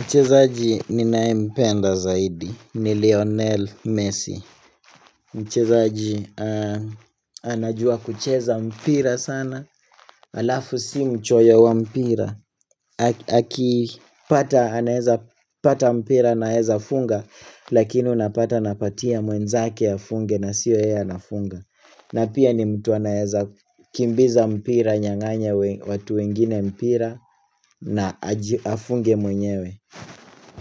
Mchezaji ninayempenda zaidi. Ni Lionel Messi. Mchezaji anajua kucheza mpira sana. Alafu si mchoyo wa mpira. Akipata mpira anaeza funga lakini unapata anapatia mwenzake afunge na sio yeye anafunga. Na pia ni mtu anaeza kimbiza mpira anyang'anye watu wengine mpira na afunge mwenyewe